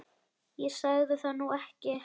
Ég sagði það nú ekki